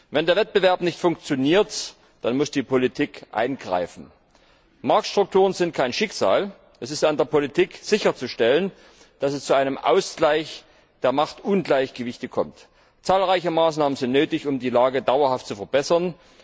Wenn der Wettbewerb nicht funktioniert, dann muss die Politik eingreifen. Marktstrukturen sind kein Schicksal, es ist an der Politik, sicherzustellen, dass es zu einem Ausgleich der Marktungleichgewichte kommt. Zahlreiche Maßnahmen sind nötig, um die Lage dauerhaft zu verbessern.